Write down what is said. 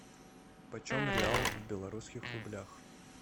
почем реал в белорусских рублях